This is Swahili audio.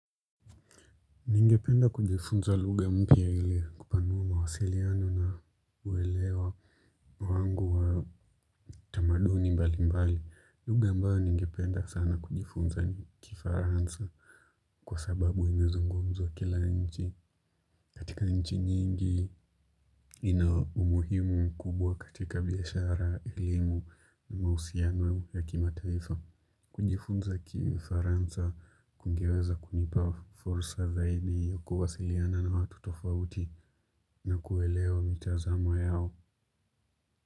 Ningependa kujifunza lugha mpya ili kupanua mawasiliano na uwelewa wangu wa tamaduni mbali mbali, lugha ambayo ningependa sana kujifunza ni kifaransa. Kwa sababu imezungumzwa kila nchi. Katika nchi nyingi ina umuhimu kubwa katika biashara elimu na mahusiano ya kimataifa. Kujifunza kifaransa kungeweza kunipa fursa zaidi ya kuwasiliana na watu tofauti na kuelewa mitazamo yao.